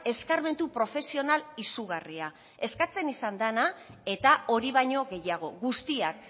eskarmentu profesional izugarria eskatzen izan dena eta hori baino gehiago guztiak